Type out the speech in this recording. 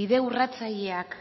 bide urratzaileak